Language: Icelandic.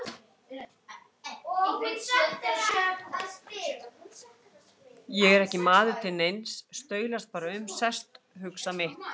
Ég er ekki maður til neins, staulast bara um, sest, hugsa mitt.